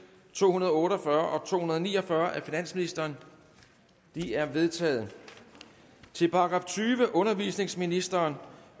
to hundrede og otte og fyrre og to hundrede og ni og fyrre af finansministeren de er vedtaget til § tyvende undervisningsministeriet